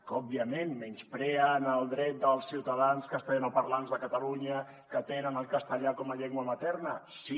que òbviament menyspreen el dret dels ciutadans castellanoparlants de catalunya que tenen el castellà com a llengua materna sí